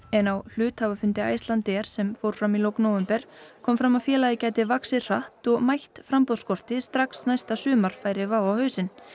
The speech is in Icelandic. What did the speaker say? en á hluthafafundi Icelandair sem fór fram í lok nóvember kom fram að félagið gæti vaxið hratt og mætt framboðsskorti strax næsta sumar færi WOW á hausinn